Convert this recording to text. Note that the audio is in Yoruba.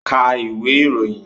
Ka ìwé ìròyìn!